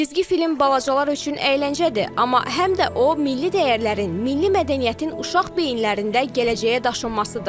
Cizgi film balacalar üçün əyləncədir, amma həm də o milli dəyərlərin, milli mədəniyyətin uşaq beyinlərində gələcəyə daşınmasıdır.